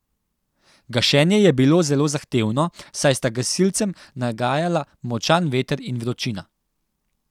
Gašenje je bilo zelo zahtevno, saj sta gasilcem nagajala močan veter in vročina.